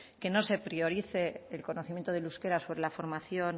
que no se priorice el conocimiento del euskera sobre la formación